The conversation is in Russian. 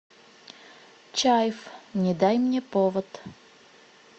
чайф не дай мне повод